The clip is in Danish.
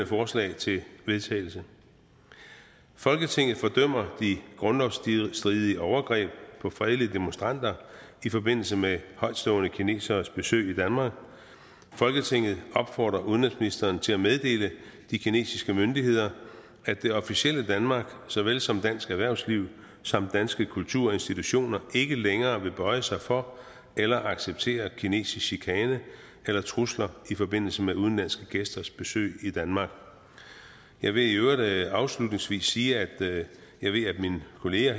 forslag til vedtagelse folketinget fordømmer de grundlovsstridige overgreb på fredelige demonstranter i forbindelse med højtstående kineseres besøg i danmark folketinget opfordrer udenrigsministeren til at meddele de kinesiske myndigheder at det officielle danmark såvel som dansk erhvervsliv samt danske kulturinstitutioner ikke længere vil bøje sig for eller acceptere kinesisk chikane eller trusler i forbindelse med udenlandske gæsters besøg i danmark jeg vil i øvrigt afslutningsvis sige at jeg ved at mine kollegaer